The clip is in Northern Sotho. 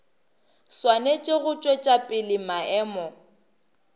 swanetše go tšwetša pele maemo